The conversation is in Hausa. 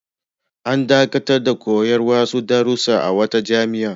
An dakatar da koyar da wasu darussa a wata jami'a.